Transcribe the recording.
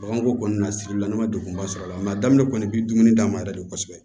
Baganko kɔni na sirilila ne ma degunba sɔrɔ a la a daminɛ kɔni bɛ dumuni d'a ma yɛrɛ de kosɛbɛ